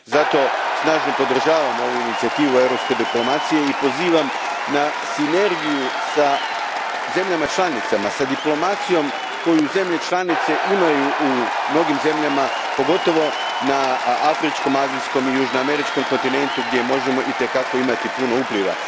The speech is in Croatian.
Zato snažno podržavam ovu inicijativu europske diplomacije i pozivam na sinergiju sa zemljama članicama, s diplomacijom koju zemlje članice imaju u mnogim zemljama, pogotovo na afričkom, azijskom i južnoameričkom kontinentu, gdje možemo itekako imati puno upliva.